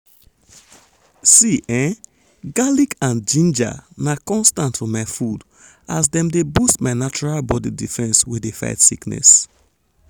see ehn! garlic and ginger na constant for my food as dem dey boost my natural body defense wey dey fight sickness.